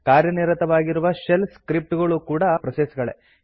ಕಾರ್ಯನಿರತವಾಗಿರುವ shell script ಗಳು ಕೂಡಾ process ಗಳೇ